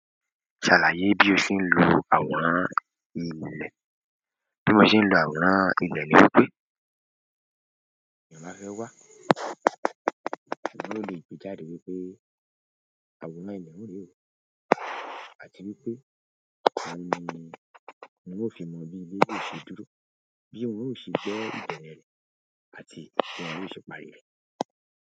Ṣàlàyé bí o ṣe ń lò àwòrán ilẹ̀. Bí mo ṣe ń lò àwòrán ilé ní wípé, èèyàn bá fẹ́ wá ṣùgbọ́n ó lè gbejáde wípé àwòrán ilé un rẹ o àti wípé òun ni un ó ṣe mọ̀ bí ilé yóò ṣe dúró, bí wọ́n ò ṣe gbẹ́ ìbẹ̀rẹ̀ rẹ̀ àti bí wọ́n yóò ṣe parí rẹ̀.